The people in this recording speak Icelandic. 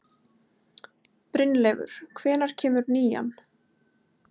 Brynleifur, hvenær kemur nían?